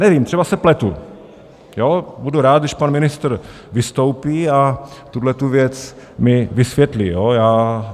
Nevím, třeba se pletu, budu rád, když pan ministr vystoupí a tuhle věc mi vysvětlí.